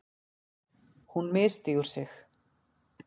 Hún misstígur sig.